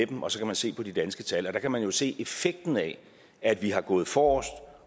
dem og så kan man se på de danske tal og der kan man jo se effekten af at vi har gået forrest